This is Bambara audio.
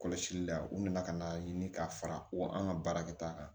Kɔlɔsili la u nana ka n'a ɲini ka fara ko an ka baara kɛta kan